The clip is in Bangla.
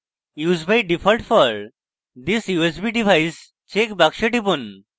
use by default for this usb device check box টিপুন